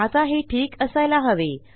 आता हे ठीक असायला हवे